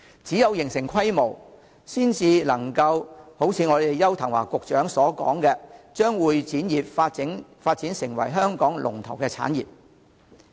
只有形成規模，才能夠如邱騰華局長所說，把會展業發展成為香港的龍頭產業。